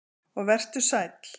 Og vertu sæll.